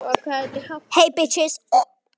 Hann var orðinn önugur og vildi komast heim.